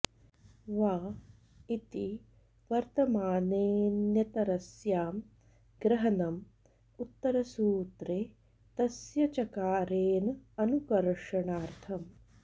वा इति वर्तमाने ऽन्यतरस्यां ग्रहनम् उत्तरसूत्रे तस्य चकारेन अनुकर्षणार्थम्